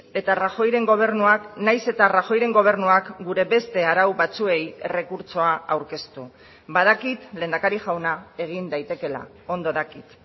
eta rajoyren gobernuak nahiz eta rajoyren gobernuak gure beste arau batzuei errekurtsoa aurkeztu badakit lehendakari jauna egin daitekeela ondo dakit